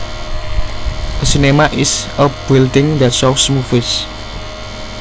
A cinema is a building that shows movies